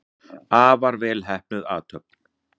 Afar vel heppnuð athöfn.